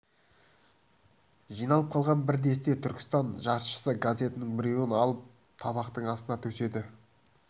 жиналып қалған бір десте түркістан жаршысы газетінің біреуін алып табақтың астына төседі